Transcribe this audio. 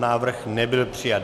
Návrh nebyl přijat.